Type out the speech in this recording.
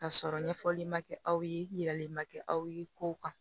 Ka sɔrɔ ɲɛfɔli ma kɛ aw ye yiralen ma kɛ aw ye kow kan